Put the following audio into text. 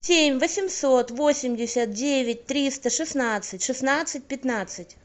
семь восемьсот восемьдесят девять триста шестнадцать шестнадцать пятнадцать